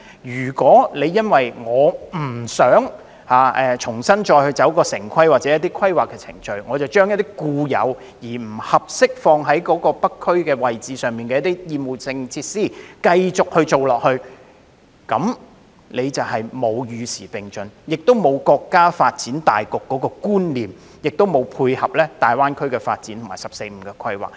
如果政府因不想重新經過城市規劃程序，而繼續發展不適合在北區設立的厭惡性設施，便是未能與時並進、未能融入國家發展大局，也未能配合大灣區發展和"十四五"規劃。